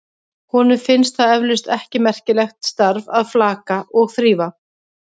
Honum finnst það eflaust ekki merkilegt starf að flaka og þrífa.